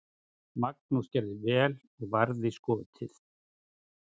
Magnús gerði vel og varði skotið.